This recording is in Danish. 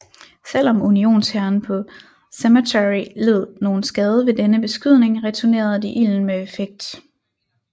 Selv om Unionshæren på Cemetery led nogen skade ved denne beskydning returnerede de ilden med effekt